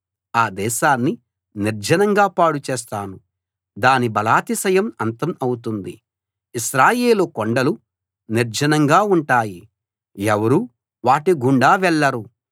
ఆ దేశాన్ని నిర్జనంగా పాడుచేస్తాను దాని బలాతిశయం అంతం అవుతుంది ఇశ్రాయేలు కొండలు నిర్జనంగా ఉంటాయి ఎవరూ వాటి గుండా వెళ్ళరు